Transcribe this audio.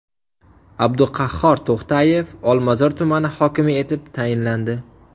Abduqahhor To‘xtayev Olmazor tumani hokimi etib tayinlandi.